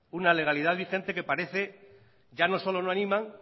una legalidad vigente que parece ya no solo no animan